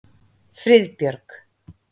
Friðbjörg